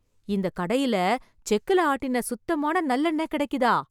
இந்த கடையில செக்குல ஆட்டுன சுத்தமான நல்லெண்ணெய் கெடைக்குதா...